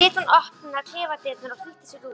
Svo lét hún opna klefadyrnar og flýtti sér út.